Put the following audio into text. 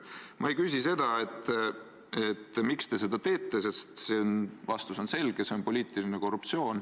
Ma ei küsi, miks te seda teete, sest see vastus on selge: see on poliitiline korruptsioon.